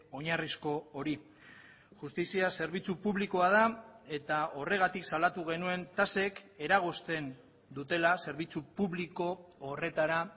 oinarrizko hori justizia zerbitzu publikoa da eta horregatik salatu genuen tasek eragozten dutela zerbitzu publiko horretara